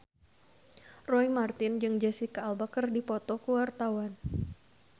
Roy Marten jeung Jesicca Alba keur dipoto ku wartawan